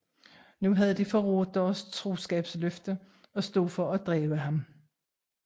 Nu havde de forrådt deres troskabsløfte og stod for at dræbe ham